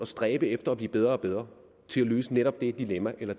stræbe efter at blive bedre og bedre til at løse netop det dilemma eller